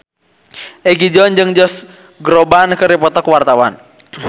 Egi John jeung Josh Groban keur dipoto ku wartawan